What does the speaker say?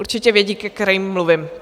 Určitě vědí, ke kterým mluvím.